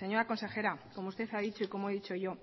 señora consejera como usted ha dicho y como he dicho yo